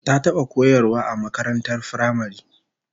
Ta taba koyarwa a makarantar firamare